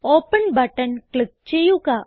open button click ചെയ്യുക